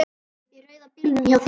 Í rauða bílnum hjá þér.